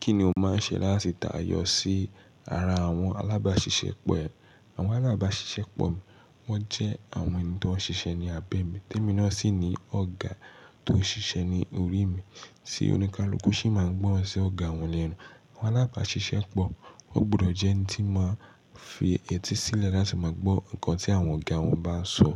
Kí ni o máa ń ṣe láti tayọ sí ara àwọn alábàáṣiṣẹ́ pọ̀ ẹ? Àwọn alábàáṣiṣẹ́ pọ̀ mi, wọ́n jẹ́ àwọn ènìyàn tó ń ṣiṣẹ́ ní abẹ́ mi, témi náà sì ni ọ̀gá tó ń ṣiṣẹ́ ní orí mi. Tí oní kaluku ṣì máa ń gbọ́rọ̀ sí ọ̀gá wọn ní ẹnu. Àwọn alábàáṣiṣẹ́ pọ̀, ó gbọdọ̀ jẹ́ ẹni tí máa fi etí sílẹ̀ láti máa gbọ́ nǹkan tí àwọn ọ̀gá wọn bá sọ